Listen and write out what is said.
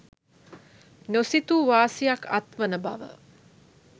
නොසිතූ වාසියක් අත්වන බව